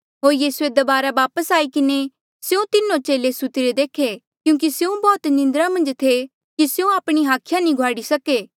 होर यीसूए दबारा वापस आई किन्हें स्यों तीनो चेले सुत्तिरे देखे क्यूंकि स्यों बौह्त निंद्रा मन्झ थे कि स्यों आपणी हाखिया नी घुआड़ी सके